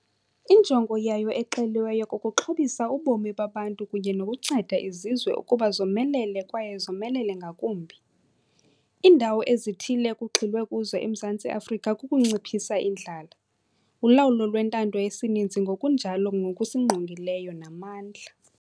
Injongo yayo exeliweyo kukuxhobisa ubomi babantu kunye nokunceda izizwe ukuba zomelele kwaye zomelele ngakumbi. Iindawo ezithile ekugxilwe kuzo eMzantsi Afrika kukunciphisa indlala, ulawulo lwentando yesininzi ngokunjalo nokusingqongileyo namandla.